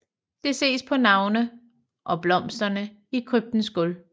Det ses på navne og blomsterne i kryptens gulv